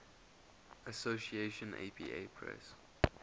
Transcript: association apa press